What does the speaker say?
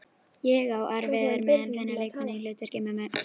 Ég á erfiðara með að finna leikkonu í hlutverk mömmu.